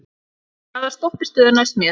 Ívan, hvaða stoppistöð er næst mér?